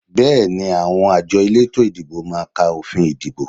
Bẹ́ẹ̀ni, àwọn àjọ elétò ìdìbò máa ka òfin ìdìbò